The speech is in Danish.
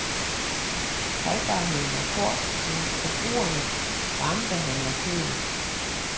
Holdbarheden er kort, men forbrugerne varmebehandler kødet.